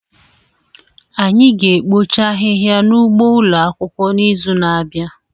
Anyị ga-ekpocha ahịhịa n'ugbo ụlọ akwụkwọ n'izu na-abịa